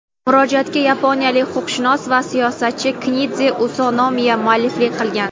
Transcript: Murojaatga yaponiyalik huquqshunos va siyosatchi Kendzi Usunomiya mualliflik qilgan.